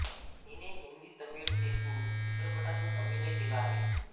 हिने हिंदी तमिळ तेलुगू चित्रपटांतून अभिनय केला आहे